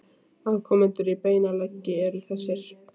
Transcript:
Afkomendur í beinan legg eru þessir